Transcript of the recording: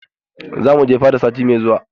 Za mu je fada sati na gaba.